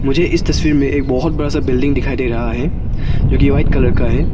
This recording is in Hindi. मुझे इस तस्वीर में एक बहुत बड़ा सा बिल्डिंग दिखाई दे रहा है जोकि व्हाइट कलर का है।